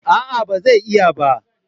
A'a ba zai iya ba